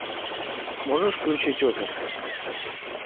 можешь включить офис